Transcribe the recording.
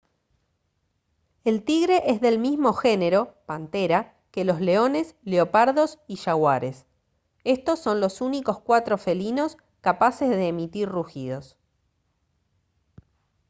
el tigre es del mismo género panthera que los leones leopardos y jaguares. estos son los únicos cuatro felinos capaces de emitir rugidos